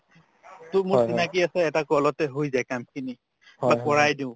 to মোৰ চিনাকি আছে এটা call তে হৈ যায় কামখিনি বা কৰাই দিও